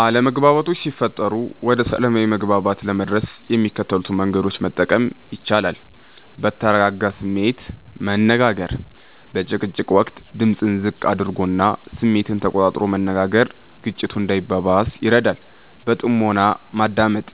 አለመግባባቶች ሲፈጠሩ ወደ ሰላማዊ መግባባት ለመድረስ የሚከተሉትን መንገዶች መጠቀም ይቻላል፦ በተረጋጋ ስሜት መነጋገር፦ በጭቅጭቅ ወቅት ድምጽን ዝቅ አድርጎና ስሜትን ተቆጣጥሮ መነጋገር ግጭቱ እንዳይባባስ ይረዳል። በጥሞና ማዳመጥ፦